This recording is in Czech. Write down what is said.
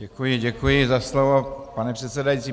Děkuji, děkuji za slovo, pane předsedající.